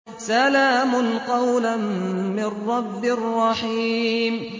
سَلَامٌ قَوْلًا مِّن رَّبٍّ رَّحِيمٍ